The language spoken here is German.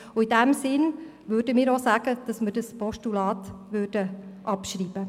In diesem Sinne möchten wir das Postulat abschreiben.